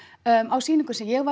á sýningunni sem ég